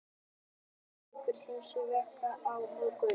Augnablik leikur hins vegar við Álftanes á morgun.